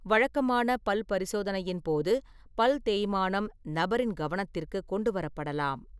வழக்கமான பல் பரிசோதனையின் போது பல் தேய்மானம் நபரின் கவனத்திற்கு கொண்டு வரப்படலாம்.